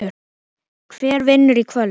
Hver vinnur í kvöld?